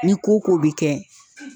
Ni ko ko be kɛ